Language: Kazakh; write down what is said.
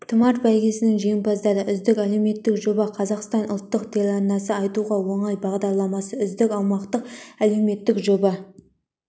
тұмар бәйгесінің жеңімпаздары үздік әлеуметтік жоба қазақстан ұлттық телеарнасы айтуға оңай бағдарламасы үздік аймақтық әлеуметтік жоба